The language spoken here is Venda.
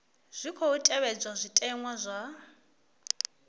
tshi khou tevhedzwa zwitenwa zwa